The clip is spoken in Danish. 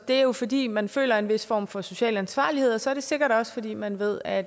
er jo fordi man føler en vis form for social ansvarlighed og så er det sikkert også fordi man ved at